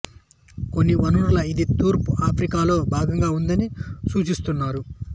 కొన్ని వనరులు ఇది తూర్పు ఆఫ్రికా లో భాగంగా ఉందని సూచిస్తున్నాయి